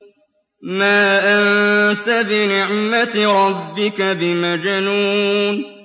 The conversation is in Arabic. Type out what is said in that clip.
مَا أَنتَ بِنِعْمَةِ رَبِّكَ بِمَجْنُونٍ